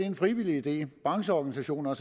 en frivillig idé brancheorganisationer